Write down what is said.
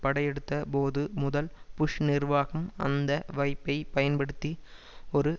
படையெடுத்தபோது முதல் புஷ் நிர்வாகம் அந்த வாய்ப்பை பயன்படுத்தி ஒரு